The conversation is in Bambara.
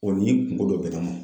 ni kungo dɔ bɛ n ma